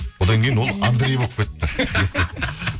одан кейін ол андрей болып кетіпті